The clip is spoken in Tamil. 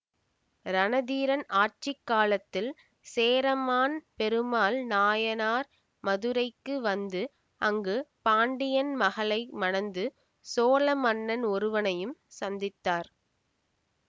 ரணதீரன் ஆட்சி காலத்தில் சேரமான் பெருமாள் நாயனார் மதுரைக்கு வந்து அங்கு பாண்டியன் மகளை மணந்து சோழ மன்னன் ஒருவனையும் சந்தித்தார்